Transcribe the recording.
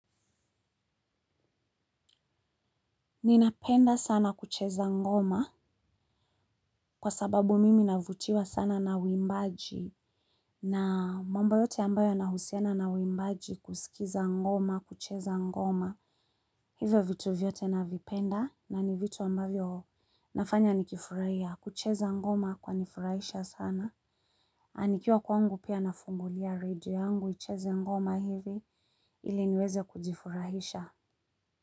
Ninapenda sana kucheza ngoma kwa sababu mimi navutiwa sana na uwimbaji na mamba yote ambayo nahusiana na uwimbaji kusikiza ngoma kucheza ngoma hivyo vitu vyote navipenda na ni vitu ambavyo nafanya nikifurahia kucheza ngoma kwani furahisha sana nanikiwa kwangu pia nafungulia radio yangu icheze ngoma hivi ili niweze kujifurahisha.